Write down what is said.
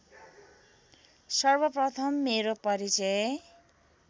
सर्वप्रथम मेरो परिचय